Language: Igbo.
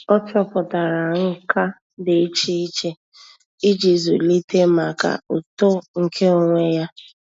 Ọ́ chọ́pụ̀tárà nkà dị́ iche iche íjí zụ́líté màkà uto nke onwe ya.